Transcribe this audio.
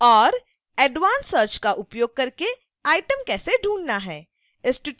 और advance search का उपयोग करके item कैसे ढूँढना है